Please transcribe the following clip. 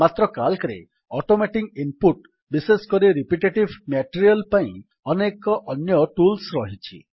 ମାତ୍ର Calcରେ automating input ବିଶେଷକରି ରିପିଟେଟିଭ୍ ମ୍ୟାଟେରିଆଲ୍ ପାଇଁ ଅନେକ ଅନ୍ୟ ଟୁଲ୍ସ ରହିଛି